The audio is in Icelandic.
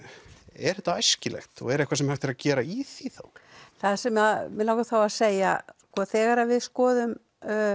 er þetta æskilegt og er eitthvað sem er hægt að gera í því þá það sem mig langar þá að segja sko þegar við skoðum